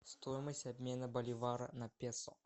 стоимость обмена боливара на песо